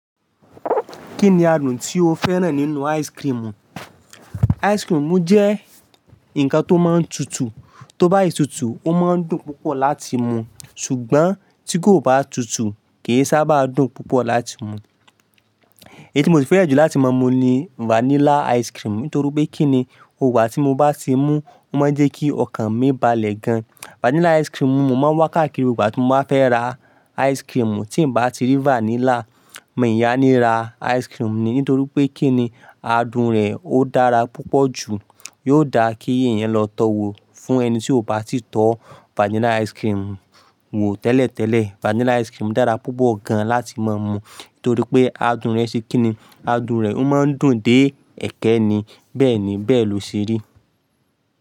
Kínni adùn tí o fẹ́ràn nínú ice cream? Ice cream jẹ́ ǹkan tó máa ń tutù, tó bá si tútù, ó máa ń dùn púpọ̀ láti mú. Ṣùgbọ́n tí kò bá tutù kì í sábà dùn púpọ̀ láti mú. Èyí tí mo si fẹ́ràn jù láti máa mú ni vanilla ice cream. Nítorí pé kí ni, gboogbà tí mo bá ti mú, ó máa ń jẹ́ kí ọkàn mí balẹ̀ gan. Vanilla ice cream ni mo máa ń wá káàkiri ìgbà tí mo bá fẹ́ ra ice cream. Tí n bá ti rí vanilla, mi ya ní rá ice cream ni. Nítorí pé kínni adùn rẹ̀ ó dára púpọ̀ jù. Yóò dáa kí èèyàn lọ tọwò fún ẹni tí ó bá ti tọ́ vanilla ice cream wò tẹ́lẹ̀tẹ́lẹ̀. Vanilla ice cream dára púpọ̀ gan láti máa mú torí pé adùn rẹ̀ ṣe kí ni, adùn rẹ̀ ó máa ń dùn dé ẹ̀ekẹ́ ni. Bẹ́ẹ̀ni, bẹ́ẹ̀ ló ṣe rí.